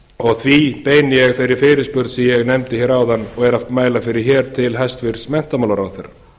og því beini ég þeirri fyrirspurn sem ég nefndi hér áðan og er að mæla fyrir hér til hæstvirts menntamálaráðherra